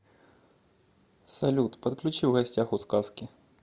салют подключи в гостях у сказки